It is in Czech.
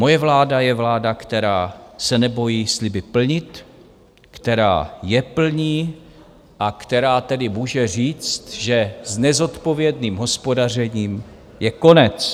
Moje vláda je vláda, která se nebojí sliby plnit, která je plní a která tedy může říct, že s nezodpovědným hospodařením je konec.